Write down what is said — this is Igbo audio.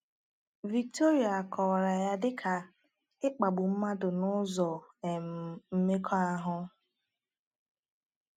Victoria kọwara ya dị ka “ịkpagbu mmadụ n’ụzọ um mmekọahụ.”